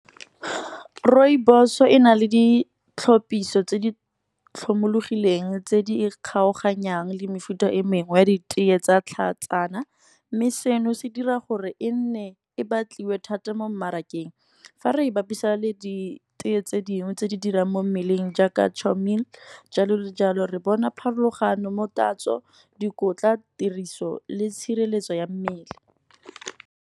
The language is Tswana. Rooibos e na le ditlhopiso tse di tlhomologileng tse di kgaoganyang le mefuta e mengwe ya ditee tsa tlhatsana. Mme seno se dira gore e nne e batliwe thata mo mmarakeng, fa re e bapisa le ditee tse dingwe tse di dirang mo mmeleng, jaaka jalo le jalo re bona pharologano mo tatso, dikotla, tiriso le tshireletso ya mmele.